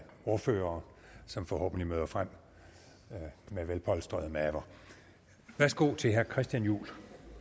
ordførere som forhåbentlig møder frem med velpolstrede maver værsgo til herre christian juhl